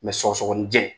sɔgɔsɔgɔninjɛ